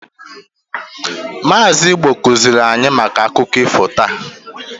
Maazi Igbo kuzili anyi maka akụkọ ifo taa.